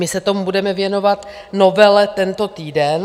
My se tomu budeme věnovat, novele, tento týden.